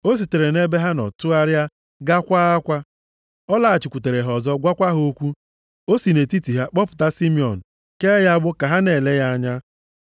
O sitere nʼebe ha nọ tụgharịa gaa kwaa akwa. Ọ lọghachikwutere ha ọzọ gwakwa ha okwu. O si nʼetiti ha kpọpụta Simiọn kee ya agbụ ka ha na-ele ya anya.